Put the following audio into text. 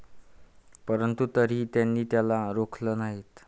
परंतु तरीही त्यांनी त्याला रोखलं नाही